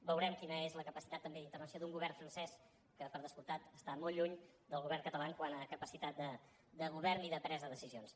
veurem quina és la capacitat també d’intervenció d’un govern francès que per descomptat està molt lluny del govern català quant a capacitat de govern i de presa de decisions